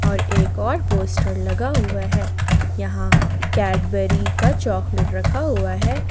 और एक और पोस्टर लगा हुआ है यहां कैडबरी का चॉकलेट रखा हुआ है।